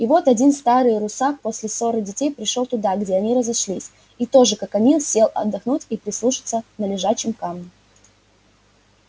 и вот один старый русак после ссоры детей пришёл туда где они разошлись и тоже как они сел отдохнуть и прислушаться на лежачем камне